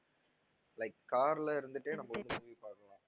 like car ல இருந்துக்கிட்டே நம்ம வந்து movie பாக்கலாம்.